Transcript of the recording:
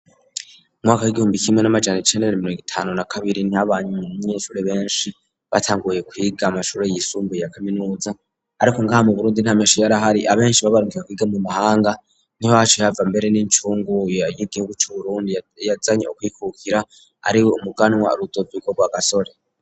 Umwaka w'igihumbi kimwe n'amajana icenda na mirongo itanu na kabiri niho abanyeshure benshi batanguye kwiga amashure yisumbuye ya kaminuza, ariko ngaha mu Burundi nta menshi yarahari, abenshi babarungika kwiga mu mahanga, niho haciye hava mbere n'incungu y'igihugu c'Uburundi yazanye ukwikukira ariwe umuganwa Rudoviko Rwagasore.